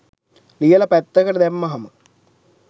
ලියල පැත්තකට දැම්මහම.